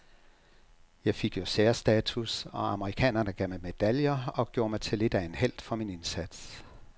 Jeg fik jo særstatus, og amerikanerne gav mig medaljer og gjorde mig til lidt af en helt for min indsats.